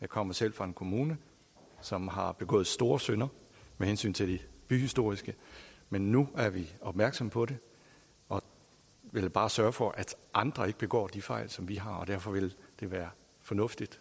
kommer selv fra en kommune som har begået store synder med hensyn til det byhistoriske men nu er vi opmærksomme på det og vil bare sørge for at andre ikke begår de fejl som vi har begået og derfor vil det være fornuftigt